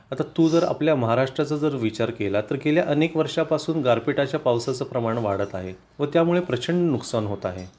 आता तू जर आपल्या महाराष्ट्राचा जर विचार केला तर गेल्या अनेक वर्षा पासून गारपीटाच्या पावसाचे प्रमाण वाढत आहे व त्यामुळे प्रचंड नुकसान होत आहे